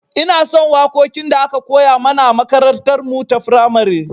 Inason waƙoƙin da aka koya mana a makarantar mu ta firamare